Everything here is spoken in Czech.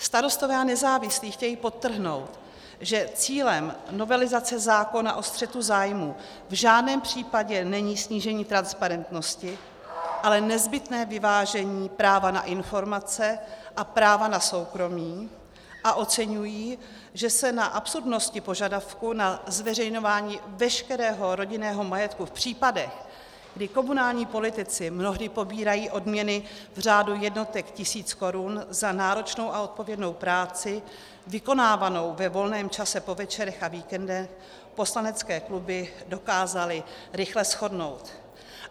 Starostové a nezávislí chtějí podtrhnout, že cílem novelizace zákona o střetu zájmů v žádném případě není snížení transparentnosti, ale nezbytné vyvážení práva na informace a práva na soukromí, a oceňují, že se na absurdnosti požadavku na zveřejňování veškerého rodinného majetku v případech, kdy komunální politici mnohdy pobírají odměny v řádu jednotek tisíc korun za náročnou a odpovědnou práci, vykonávanou ve volném čase po večerech a víkendech, poslanecké kluby dokázaly rychle shodnout.